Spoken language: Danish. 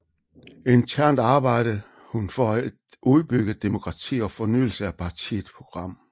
Internt arbejdede hun for et udbygget demokrati og fornyelse af partiets program